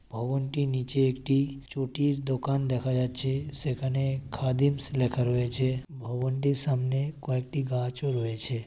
ভবনটির নীচে একটি চটির দোকান দেখা যাচ্ছে। সেখানে খাদিমস লেখা রয়েছে। ভবনটির সামনে কয়েকটি গাছ ও রয়েছে।